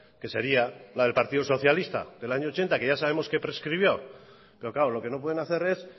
que sería la del partido socialista del año ochenta que ya sabemos que prescribió pero claro lo que no pueden hacer es